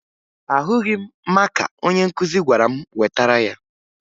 Ahụghị m maka onye nkụzi gwara m wetara ya